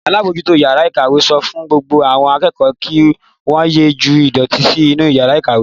Alábòójútó ìyàrá-ìkàwé sọ fún gbogbo àwọn akẹ́kọ̀ọ́ kí wọ́n ye ju ìdọ̀tí sí inú ìyàrá-ìkàwé.